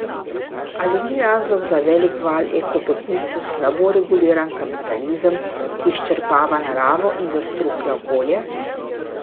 Ali ni razlog za velik val eko beguncev slabo reguliran kapitalizem, ki izčrpava naravo in zastruplja okolje?